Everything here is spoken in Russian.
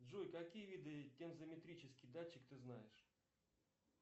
джой какие виды тензометрический датчик ты знаешь